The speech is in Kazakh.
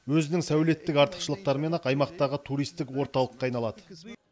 өзінің сәулеттік артықшылықтарымен ақ аймақтағы туристік орталыққа айналады